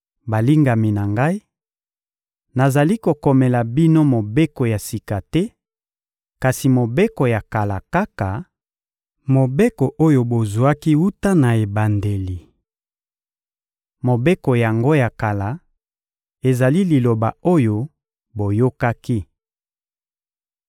Balingami na ngai, nazali kokomela bino mobeko ya sika te, kasi mobeko ya kala kaka, mobeko oyo bozwaki wuta na ebandeli. Mobeko yango ya kala ezali liloba oyo boyokaki.